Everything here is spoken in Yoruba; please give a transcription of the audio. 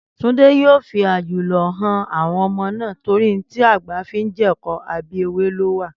Túndé yóò fi àjùlọ han àwọn ọmọ náà torí ohun tí àgbà fi ń jẹ̀kọ, abẹ́ ewé ló wà